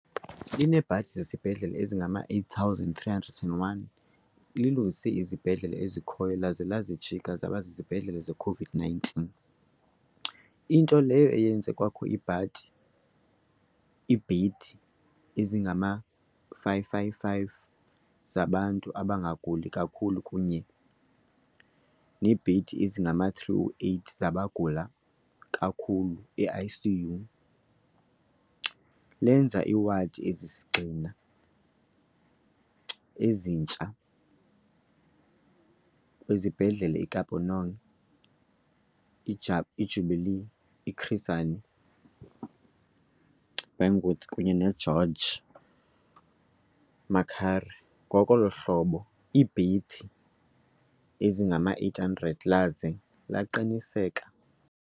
Lineebhedi zesibhedlele ezingama-8 301, lilungise izibhedlele ezikhoyo laza lazijika zaba zizibhedlele ze-COVID-19, into leyo eyenze kwakho iibhedi ezingama-555 zabantu abangaguli kakhulu kunye neebhedi ezingama-308 zabagula kakhulu i-ICU, lenza iiwadi ezisisigxina ezintsha kwizibhedlele i-Kopanong, i-Jubilee, i-Chris Hani Baragwanath kunye ne-George Mukhari, ngolo hlobo longeza iibhedi ezingama-800, laze laqinisekisa